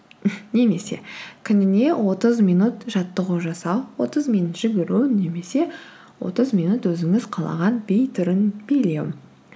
немесе күніне отыз минут жаттығу жасау отыз минут жүгіру немесе отыз минут өзіңіз қалаған би түрін билеу